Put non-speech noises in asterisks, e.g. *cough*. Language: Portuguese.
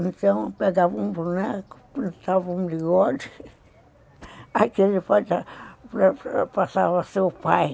Então, eu pegava um boneco, plantava um bigode, *laughs* aquele passava a ser o pai.